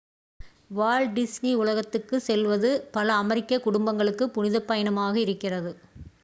Walt Disney உலகத்துக்குச் செல்வது பல அமெரிக்கக் குடும்பங்களுக்கு புனிதப் பயணமாக இருக்கிறது